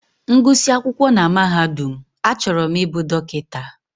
M gụsị akwụkwọ na mahadum, achọrọ m ịbụ dọkịta.